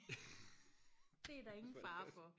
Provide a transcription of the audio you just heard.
det er der ingen fare for